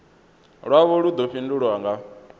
lwavho lu ḓo fhindulwa nga